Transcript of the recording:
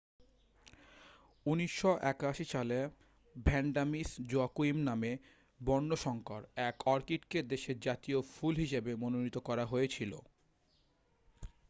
1981 সালে Vanda Miss Joaquim নামে বর্ণসঙ্কর এক অর্কিডকে দেশের জাতীয় ফুল হিসাবে মনোনীত করা হয়েছিল